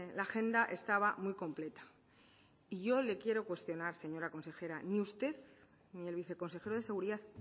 la agenda estaba muy completa y yo le quiero cuestionar señora consejera ni usted ni el viceconsejero de seguridad